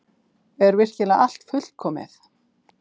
Er virkilega allt fullkomið?